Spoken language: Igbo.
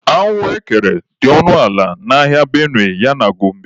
Ahụekere dị ọnụ ala n'ahịa Benue ya na Gombe.